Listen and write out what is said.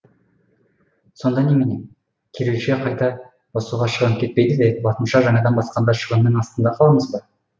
сонда немене кирилше қайта басуға шығын кетпейді де латынша жаңадан басқанда шығынның астында қаламыз ба